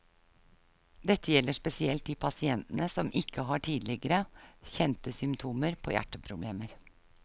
Dette gjelder spesielt de pasientene som ikke har tidligere, kjente symptomer på hjerteproblemer.